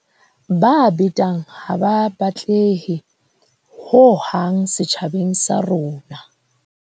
Ba betang ha ba batlehe hohang setjhabeng sa rona.